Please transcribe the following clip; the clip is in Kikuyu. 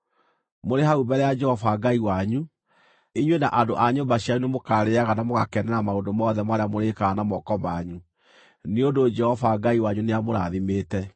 Mũrĩ hau mbere ya Jehova Ngai wanyu, inyuĩ na andũ a nyũmba cianyu nĩmũkarĩĩaga na mũgakenera maũndũ mothe marĩa mũrĩĩkaga na moko manyu, nĩ ũndũ Jehova Ngai wanyu nĩamũrathimĩte.